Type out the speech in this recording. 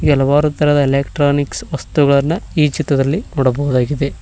ಹಲವಾರು ತರಹದ ಎಲೆಕ್ಟ್ರಾನಿಕ್ಸ್ ವಸ್ತುಗಳನ್ನ ಈ ಚಿತ್ರದಲ್ಲಿ ನೋಡಬಹುದಾಗಿದೆ.